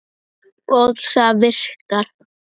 Og það virkar.